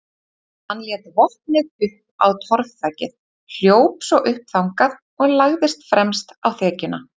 Hann lét vopnið upp á torfþakið, hljóp svo upp þangað og lagðist fremst á þekjuna.